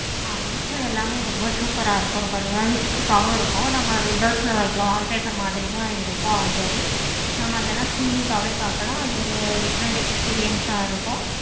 ஆஹ் nature எல்லாமே super ஆஹ் இருக்கும். ரொம்ப realistic ஆஹ் வும் இருக்கும். நம்ம windows ல வைக்குற wallpaper மாதிரி தான் இருக்கும். already நம்ம அதெல்லாம் ceilings ஆஹ் வே பார்க்கலாம். அது ஒரு different experience ஆஹ் வும் இருக்கும்.